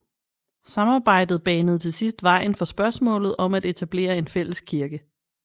Samarbejdet banede til sidst vejen for spørgsmålet om at etablere en fælles kirke